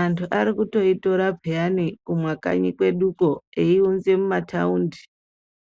anhu ari kutoitora pheyani, kumakanyi kwedukwo, eiunza mumathaundi.